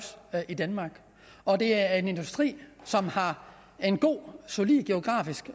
i danmark og det er en industri som har en god solid geografisk